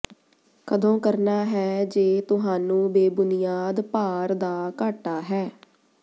ਕਦੋਂ ਕਰਨਾ ਹੈ ਜੇ ਤੁਹਾਨੂੰ ਬੇਬੁਨਿਆਦ ਭਾਰ ਦਾ ਘਾਟਾ ਹੈ